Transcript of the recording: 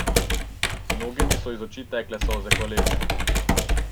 Mnogim so iz oči tekle solze hvaležnosti.